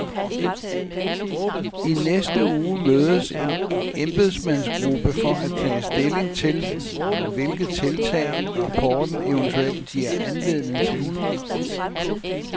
I næste uge mødes en embedsmandsgruppe for at tage stilling til, hvilke tiltag rapporten eventuelt giver anledning til.